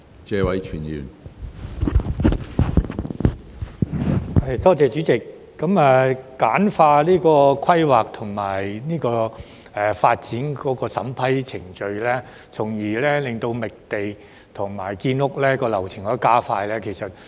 主席，簡化規劃及發展的審批程序從而加快覓地和建屋流程，是很多人所想。